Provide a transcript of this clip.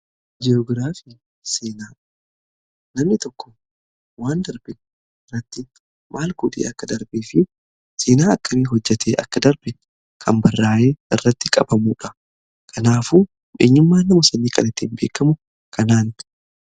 Ji'oogiraafiin seenaa namni tokko waan darbe irratti maal godhee akka darbee fi seenaa akkamii hojjate akka darbe kan barraa'ee irratti qabamuudha. Kanaafuu eenyummaan nama sunii kan ittiiin beekamu kanadha.